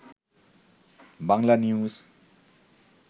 Banglanews